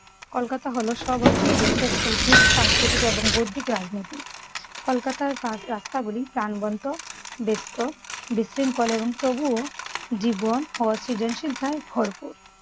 কলকাতা হলো সব দেশের শৈল্পিক, সাংস্কৃতিক এবং বৌদ্ধিক রাজনীতি। কলকাতার পার্ক রাস্তাগুলি প্রাণবন্ত, ব্যস্ত, বিশৃঙ্খল এবং তবুও জীবন ও সৃজনশীলতায় ভরপুর।